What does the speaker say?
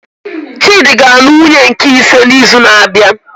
Chidi ga anụ nwunye nke ise na izu na abịa